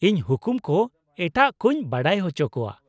ᱤᱸᱧ ᱦᱩᱠᱩᱢ ᱠᱚ ᱮᱴᱟᱜ ᱠᱚᱧ ᱵᱟᱰᱟᱭ ᱚᱪᱚ ᱠᱚᱣᱟ ᱾